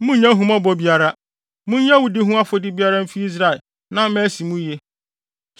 Munnya ahummɔbɔ biara. Munyi awudi ho afɔdi biara mfi Israel na ama asi mo yiye.